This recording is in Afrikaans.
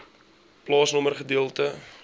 plaasnommer gedeelte